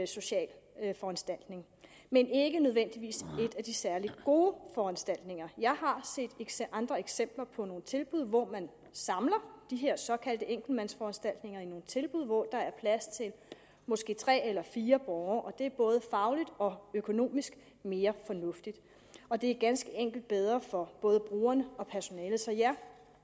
social foranstaltning men ikke nødvendigvis en af de særlig gode foranstaltninger jeg har set andre eksempler på nogle tilbud hvor man samler de her såkaldte enkeltmandsforanstaltninger i nogle tilbud hvor der er plads til måske tre eller fire borgere og det er både fagligt og økonomisk mere fornuftigt og det er ganske enkelt bedre for både brugerne og personalet så ja